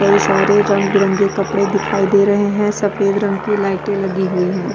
कई सारे रंग बिरगे कपड़े दिखाई दे रहे है सफ़ेद रंग की लाइटे लगी हुई है।